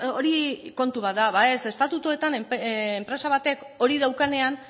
hori kontu bat da ba ez estatutuetan enpresa batek hori daukanean